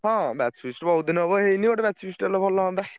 ହଁ batch feast ବହୁତ୍ ଦିନି ହବ ହେଇନି ଗୋଟେ batch feast ହେଲେ ଭଲ ହଅନ୍ତା।